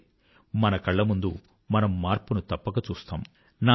చూడండి మన కళ్ళముందు మనం మార్పును తప్పక చూస్తాము